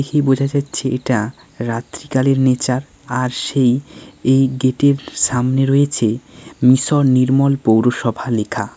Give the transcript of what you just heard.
দেখে বুঝা যাচ্ছে এটা রাত্রিকালের নেচার আর সেই এই গেট -এর সামনে রয়েছে মিশন নির্মল পৌরসভা লেখা।